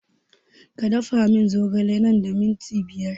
Ka da fa mun zogale nan da minti biyar